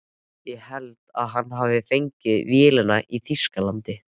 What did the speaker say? Ég held að hann hafi fengið vélina í Þýskalandi.